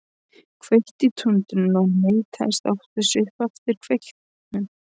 Kveikti í tundrinu og neistarnir átu sig upp eftir kveiknum.